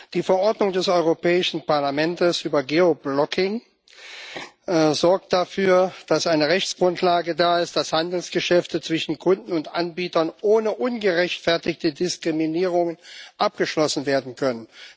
Die Verordnung des Europäischen Parlaments über Geoblocking sorgt dafür, dass eine Rechtsgrundlage da ist, dass Handelsgeschäfte zwischen Kunden und Anbietern ohne ungerechtfertigte Diskriminierungen abgeschlossen werden können.